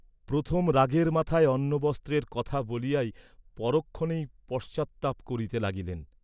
প্রথম রাগের মাথায় অন্ন বস্ত্রের কথা বলিয়াই পরক্ষণেই পশ্চাত্তাপ করিতে লাগিলেন।